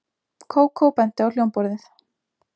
Kókó benti á hljómborðið.